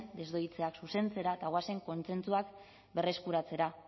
desdoitzeak zuzentzera eta goazen kontsentsuak berreskuratzera